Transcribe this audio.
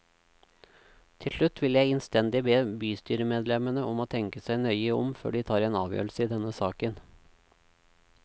Til slutt vil jeg innstendig be bystyremedlemmene om å tenke seg nøye om før de tar en avgjørelse i denne saken.